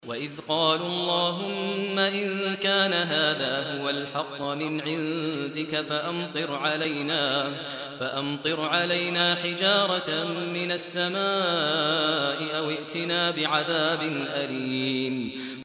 وَإِذْ قَالُوا اللَّهُمَّ إِن كَانَ هَٰذَا هُوَ الْحَقَّ مِنْ عِندِكَ فَأَمْطِرْ عَلَيْنَا حِجَارَةً مِّنَ السَّمَاءِ أَوِ ائْتِنَا بِعَذَابٍ أَلِيمٍ